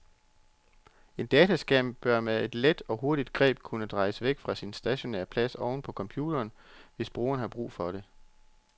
En dataskærm bør med et let og hurtigt greb kunne drejes væk fra sin stationære plads oven på computeren, hvis brugeren har behov for det.